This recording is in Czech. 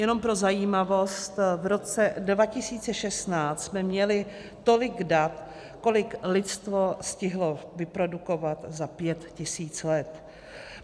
Jenom pro zajímavost, v roce 2016 jsme měli tolik dat, kolik lidstvo stihlo vyprodukovat za pět tisíc let.